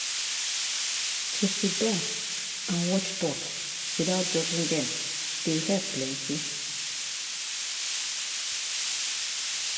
to siddon and watch thought without judging dem dey help plenty.